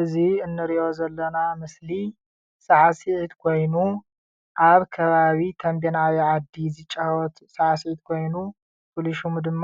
እዚ ንሪኦ ዘለና ምስሊ ሳዕስዒት ኮይኑ አብ ከባቢ ተምቤን ዓብዪ ዓዲ ዝጫወት ሳዕስዒት ኮይኑ ፍሉይ ሽሙ ድማ